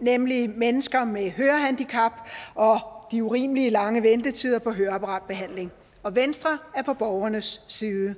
nemlig mennesker med hørehandicap og de urimelig lange ventetider på høreapparatbehandling og venstre er på borgernes side